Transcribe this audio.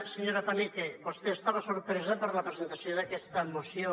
senyora paneque vostè estava sorpresa per la presentació d’aquesta moció